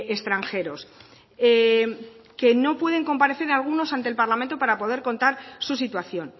extranjeros que no pueden comparecer algunos ante el parlamento para poder contar su situación